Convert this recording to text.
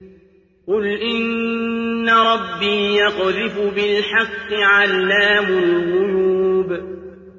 قُلْ إِنَّ رَبِّي يَقْذِفُ بِالْحَقِّ عَلَّامُ الْغُيُوبِ